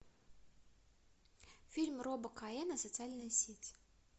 фильм роба коэна социальная сеть